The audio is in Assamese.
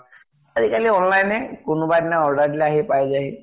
আজি কালি online হে, কোনোবা এদিন order দিলে আহি পায় যায়হি।